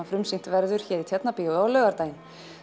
frumsýnt verður hér í Tjarnarbíói á laugardaginn